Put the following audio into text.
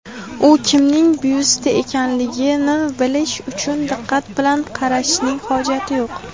U kimning byusti ekanligini bilish uchun diqqat bilan qarashning hojat yo‘q.